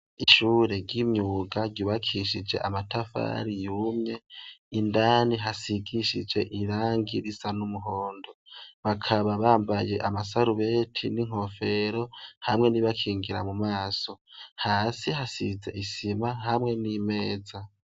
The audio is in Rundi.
Ishure ry'imyuga ryibakishije amatafari yumye indani hasigishije irangi risa n'umuhondo bakaba bambaye amasarubeti n'inkofero hamwe nibakingira mu maso hasi hasize isima hamwe n'imeza.